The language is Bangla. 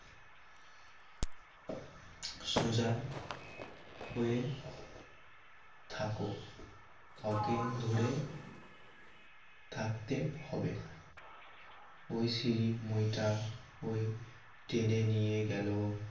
সোজা হয়ে থাকো ওকে ধরে থাকতে হবে না ওই সিড়ি মই টা ওই টেনে নিয়ে গেল